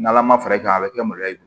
N' ala ma fara i kan a bɛ kɛ maloya ye